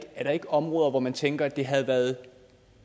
områder hvor man tænker at det havde været